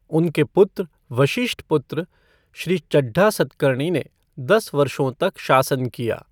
उनके पुत्र वशिष्ठपुत्र श्री चड्ढा सतकर्णी ने दस वर्षों तक शासन किया।